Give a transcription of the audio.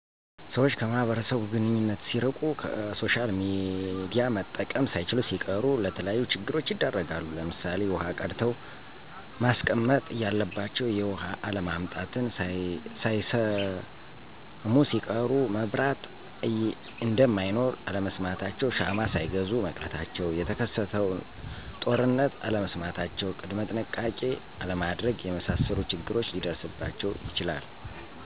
ሰወች ከማህበረሰቡ ግንኙነት ሲርቂ፣ ከሶሻልሚዲያ መጠቀም ሳይችሉሲቀሩ ለተለያዩ ችግሮች ይዳረጋሉ ለምሳሌ ዉሀቀድተዉመስቀመጥ እያለባቸዉ የዉሀአለምጣትን ሳይሰሙሲቀሩ፣ መብራት እነደማይኖር አለመስማታቸዉ ሻማሳይገዙ መቅረታቸዉ፣ የተከሰተንጦርነት አለመስማታቸዉ ቅድመጥንሸቃቄ አለማድረግ የመሳሰሉት ችግር ሊደርስባቸዉ ይችላል።